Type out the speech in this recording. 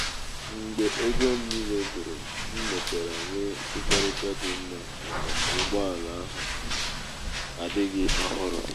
mgbe ego m niile gwuru m mechara nwee nkwekọrịta dị mma maka ụgbọ ala ahu ala ahu adighi ohuru